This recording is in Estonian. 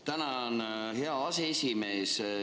Tänan, hea aseesimees!